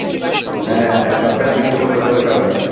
হ্যাঁ হ্যাঁ সরকারের পৃষ্ঠ পোষকতার কারণেই